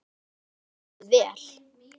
Veiddum við vel.